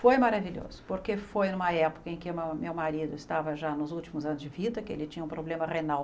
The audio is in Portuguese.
Foi maravilhoso, porque foi numa época em que meu meu marido estava já nos últimos anos de vida, que ele tinha um problema renal